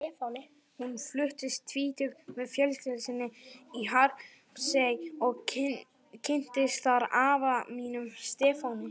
Hún fluttist tvítug með fjölskyldu sinni í Hrappsey og kynntist þar afa mínum, Stefáni.